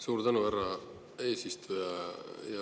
Suur tänu, härra eesistuja!